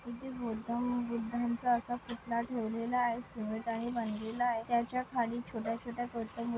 इथे बुद्धा व बुद्धांचा असा पुतळा ठेवलेला आहे सीमेंट ने बांधलेले आहे त्याच्याखाली छोट्या-छोट्या गौतम बु--